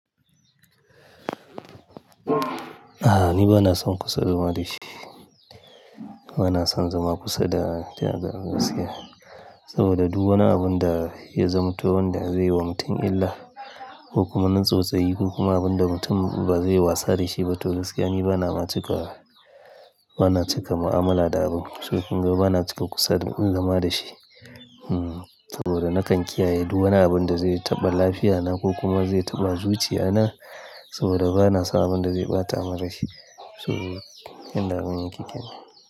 A'a, ni ba na son kusa zama da shi. Ba na son zama kusa da taga gaskiya saboda duk wani abun da ya zam to, wanda zai yi wa mutum illa ko kuma na tsotsayi ko kuma abun da mutum ba zai yi wasa da shi ba toh gaskiya ni ba na ma cika, ba na cika mu'amala da abun. To kunga ba na cika kusa in zama da shi. Hmm, saboda na kan kiyaye duk wani abun da zai taɓa lafiyana ko kuma zai taɓa zuciyana saboda ba na so abun da zai ɓata mani rashi. To yanda abun ya ke kenan.